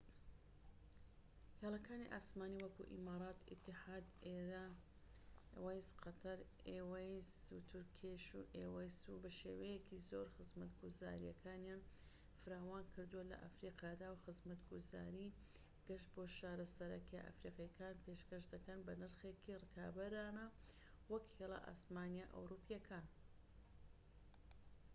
هێڵەکانی ئاسمانیی وەکو ئیمارات ئیتیحاد ئێروەیس قەتەر ئێوەیس و تورکێش ئێوەیس بەشێوەیەکی زۆر خزمەتگوزاریەکانیان فراوان کردووە لە ئەفریقادا وە خزمەتگوزاریی گەشت بۆ شارە سەرەکیە ئەفریقیەکان پێشکەش دەکەن بە نرخێکی ڕکابەرانە وەك لە هێڵە ئاسمانیە ئەوروپیەکان